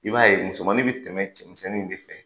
I b'a ye musomannin bɛ tɛmɛ cɛmisɛnnin de fɛ